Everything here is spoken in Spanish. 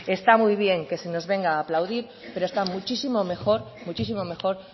está muy bien que se nos venga a aplaudir pero está muchísimo mejor muchísimo mejor